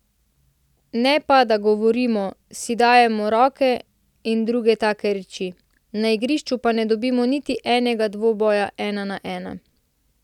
Ne pa da govorimo, si dajemo roke in druge take reči, na igrišču pa ne dobimo niti enega dvoboja ena na ena.